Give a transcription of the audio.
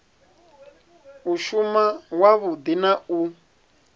u shuma wavhudi na u